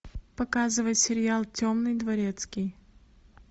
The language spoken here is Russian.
показывай сериал темный дворецкий